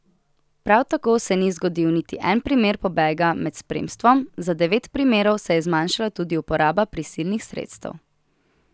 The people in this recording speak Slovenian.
Prav tako se ni zgodil niti en primer pobega med spremstvom, za devet primerov se je zmanjšala tudi uporaba prisilnih sredstev.